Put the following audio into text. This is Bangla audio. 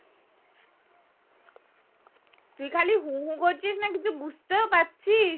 তুই খালি হু হু করছিস না কিছু বুঝতেও পারছিস